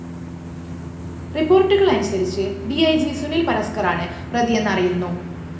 റിപ്പോര്‍ട്ടുകളനുസരിച്ച് D E G Sunil‍ പരസ്‌ക്കറാണ് പ്രതിയെന്ന് അറിയുന്നു